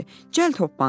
Cəld hoppandı.